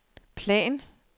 plan